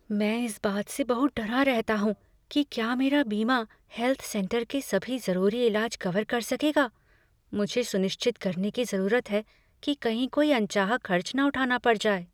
मैं इस बात से बहुत डरा रहता हूँ कि क्या मेरा बीमा हेल्थ सेंटर के सभी जरूरी इलाज कवर कर सकेगा। मुझे सुनिश्चित करने की जरूरत है कि कहीं कोई अनचाहा खर्च न उठाना पड़ जाए।